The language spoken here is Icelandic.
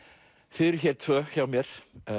þið eruð hér tvö hjá mér